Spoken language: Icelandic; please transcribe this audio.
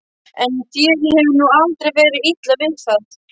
En þér hefur nú aldrei verið illa við það.